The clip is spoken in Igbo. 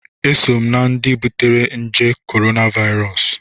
Eso m na-ndị butere nje korona Vairọs